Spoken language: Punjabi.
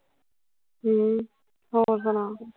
ਹਮ ਹੋਰ ਸੁਣਾ ਫਿਰ